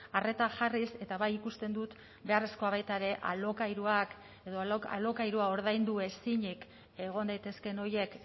arreta jarriz eta bai ikusten dut beharrezkoa baita ere alokairuak edo alokairua ordaindu ezinik egon daitezkeen horiek